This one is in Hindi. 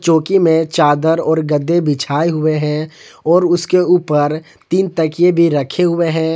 चौकी में चादर और गद्दे बिछाए हुए हैं और उसके ऊपर तीन तकिए भी रखे हुए हैं।